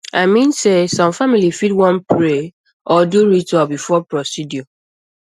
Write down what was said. i mean sey some families fit want pray or do ritual before procedure